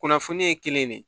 Kunnafoni ye kelen de ye